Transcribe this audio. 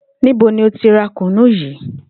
Níbo ni o ti ra kùnnú yii?